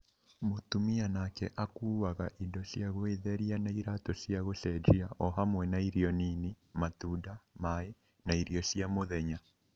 Mũtumia nake akuwaga indo cia gwĩtheria na iraatũ cia gũcenjia , o hamwe na irio nini, matunda, maĩ, na irio cia mũthenya.